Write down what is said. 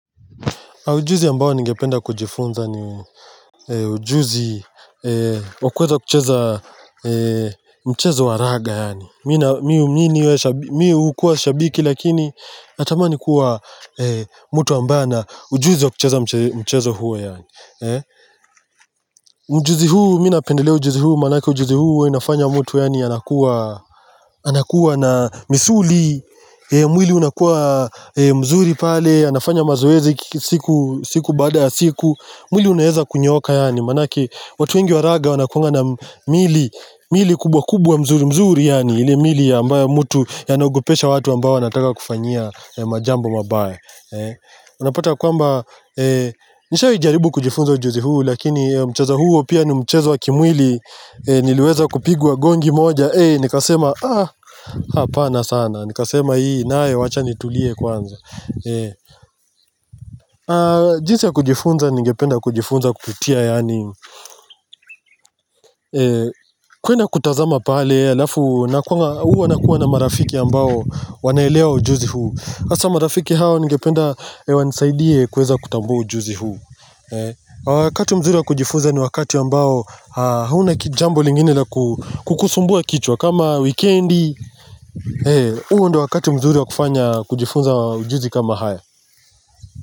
Ujuzi ambao ningependa kujifunza ni ujuzi wa kuweza kucheza mchezo wa raga yani. Mi hukuwa shabiki lakini, natamani kuwa mtu ambaye ana ujuzi wa kucheza mchezo huo. Ujuzi huu, mi napendelea ujuzi huu, manake ujuzi huu, huwa inafanya mtu anakuwa anakuwa na misuli, mwili unakuwa mzuri pale anafanya mazoezi siku baada ya siku mwili unaweza kunyooka yani Manake watu wengi wa raga Wanakuanga na mwili kubwa kubwa mzuri mzuri yani ile mili ambayo mtu Yanagopesha watu ambao wanataka kukufanyia Majambo mabaya Unapata kwamba Nishawai jaribu kujifunza ujuzi huu Lakini mchezo huo pia ni mchezo wa kimwili Niliweza kupigwa gongi moja nikasema Hapana sana nikasema hii nayo wacha nitulie kwanza jinsi ya kujifunza ningependa kujifunza kupitia yaani kwenda kutazama pale alafu huwa nakuwa na marafiki ambao wanaelewa ujuzi huu hasa marafiki hao ningependa wanisaidie kuweza kutambua ujuzi huu Wakati mzuri ya kujifunza ni wakati ambao hauna jambo lingine la kukusumbua kichwa kama weekendi huo ndio wakati mzuri wa kufanya kujifunza ujuzi kama haya.